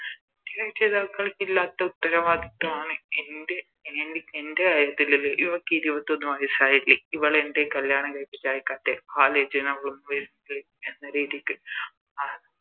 ഇല്ലാത്ത ഉത്തരവാദിത്വമാണ് എൻറെ എൻറെ കാര്യത്തില് ഇവക്ക് ഇരുപത്തൊന്ന് വയസ്സായില്ലേ ഇവളെ എന്തെ കല്യാണം കഴിപ്പിച്ച് അയക്കത്തെ ആലെചനകളൊന്നും വരുന്നില്ലേ എന്ന രീതിക്ക്